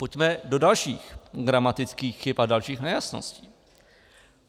Pojďme do dalších gramatických chyb a dalších nejasností.